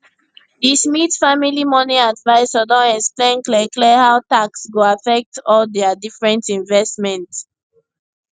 di smith family money advisor don explain clearclear how tax go affect all dia different investment